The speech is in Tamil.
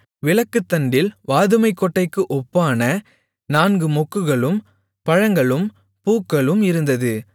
விளக்குத்தண்டில் வாதுமைக்கொட்டைக்கு ஒப்பான நான்கு மொக்குகளும் பழங்களும் பூக்களும் இருந்தது